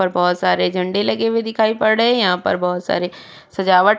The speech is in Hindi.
और बोहोत सारे झंडे लगे हुए दिखाई पड़ रहे हैं। यहां पर बहुत सारे सजावट --